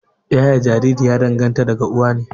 Yaye Jariri ya danganta da uwa ne